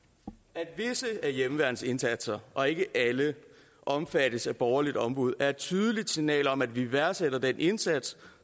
at visse af hjemmeværnets indsatser og ikke alle omfattes af borgerligt ombud er et tydeligt signal om at vi værdsætter den indsats